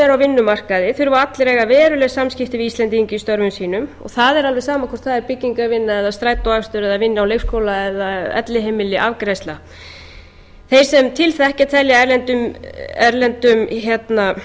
eru á vinnumarkaði þurfa allir að eiga veruleg samskipti við íslendinga í störfum sínum og það er alveg sama hvort það er byggingarvinna eða strætóakstur eða vinna á leikskóla eða elliheimili afgreiðsla þeir sem til þekkja telja að erlendum